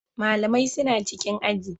Malamai suna cikin aji.